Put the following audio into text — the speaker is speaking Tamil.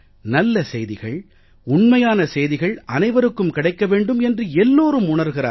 நல்ல செய்திகள் உண்மையான செய்திகள் அனைவருக்கும் கிடைக்க வேண்டும் என்று எல்லோரும் உணர்கிறார்கள்